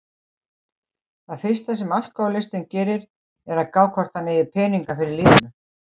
Það fyrsta sem alkohólistinn gerir, er að gá hvort hann eigi peninga fyrir lífinu.